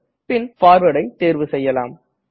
பின் Forwardஐ தேர்வு செய்யலாம்